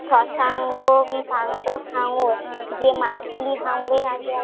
শশাঙ্গ সাঙ্গ জে মাছ গুলি হাঙ্গরের আগে